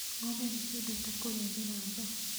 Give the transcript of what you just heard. Ng'ombe nĩ ciendete kũrĩa mĩramba.